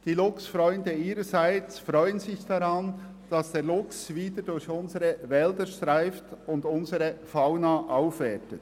die Luchsfreunde ihrerseits erfreuen sich daran, dass der Luchs wieder durch unsere Wälder streift und unsere Fauna aufwertet.